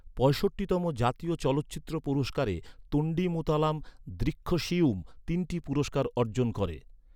পঁয়ষট্টিতম জাতীয় চলচ্চিত্র পুরস্কারে তোন্ডীমুতালাম দ্রীক্ষশিয়ুম তিনটি পুরস্কার অর্জন করে।